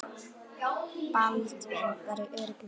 Baldvin var í öruggum höndum.